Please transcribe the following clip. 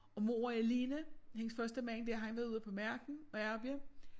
Og mor er alene hendes første mand der han var ude på marken og ærrja